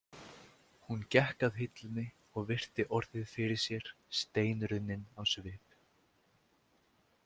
Hún gekk að hillunni og virti orðið fyrir sér steinrunnin á svip.